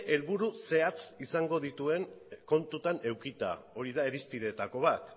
helburu zehatz izango dituen kontutan edukita hori da irizpideetako bat